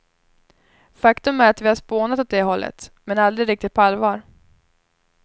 Faktum är att vi har spånat åt det hållet, men aldrig riktigt på allvar.